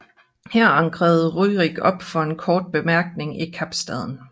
Her ankrede Rjurik op for en kort bemærkning i Kapstaden